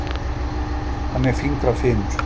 Hann er fingrafimur.